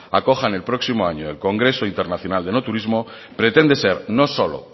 acojan el próximo año el congreso nacional de enoturismo pretende ser no solo